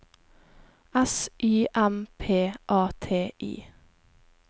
S Y M P A T I